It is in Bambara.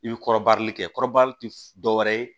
I bɛ kɔrɔbali kɛ kɔrɔbali tɛ dɔ wɛrɛ ye